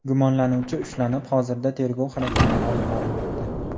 Gumonlanuvchi ushlanib, hozirda tergov harakatlari olib borilmoqda.